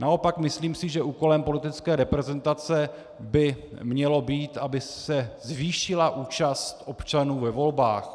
Naopak si myslím, že úkolem politické reprezentace by mělo být, aby se zvýšila účast občanů ve volbách.